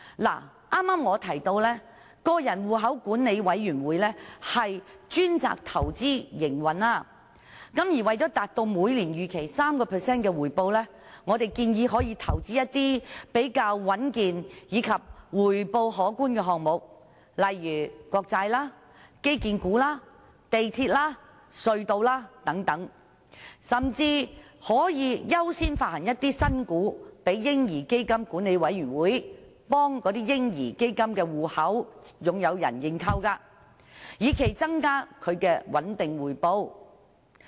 我剛才提到，委員會專責投資和營運基金，為了達到每年 3% 的預期回報，我們建議可投資一些比較穩健及回報可觀的項目，例如國債、基建股、地鐵和隧道等，甚至可以優先發行新股予委員會，讓委員會代"嬰兒基金"的戶口持有人認購，以期增加其穩定回報。